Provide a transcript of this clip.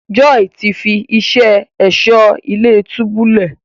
Joy tí fí iṣé Ẹ̀ṣọ́ ilé-túbú lẹ.